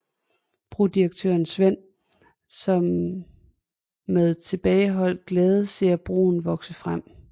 Brodirektøren Sven som med tilbageholdt glæde ser broen vokse frem